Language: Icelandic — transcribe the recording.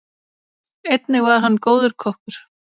Einnig var hann góður kokkur.